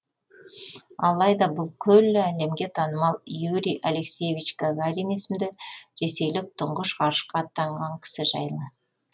алайда бұл күллі әлемге танымал юрий алексеевич гагарин есімді ресейлік тұңғыш ғарышқа аттанған кісі жайлы